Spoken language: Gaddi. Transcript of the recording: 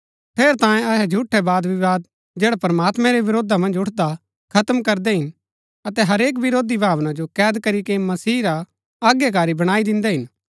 ठेरैतांये अहै झूठै बादविवाद जैड़ा प्रमात्मैं रै विरोधा मन्ज उठदा हा खत्म करदै हिन अतै हरेक विरोधी भावना जो कैद करीके मसीह रा अज्ञाकारी बणाई दिन्दै हिन